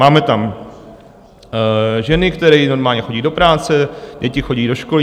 Máme tam ženy, které normálně chodí do práce, děti chodí do školy.